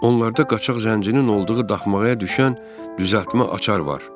Onlarda qaçaq zəncirin olduğu daxmaya düşən düzəltmə açar var.